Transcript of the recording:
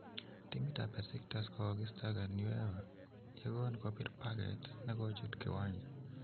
timit ap Besiktas kogokisitagan UEFA yegon kopir paget negochut kiwanja.